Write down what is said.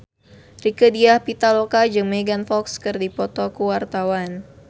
Rieke Diah Pitaloka jeung Megan Fox keur dipoto ku wartawan